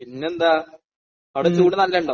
പിന്നെന്താണ്? അവിടെ ചൂട് നല്ലത് ഉണ്ടോ?